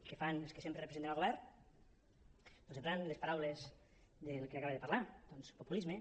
què fan els que sempre representen al govern doncs emprant les paraules del que acaba de parlar populisme